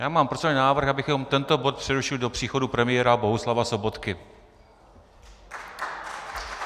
Já mám procedurální návrh, abychom tento bod přerušili do příchodu premiéra Bohuslava Sobotky.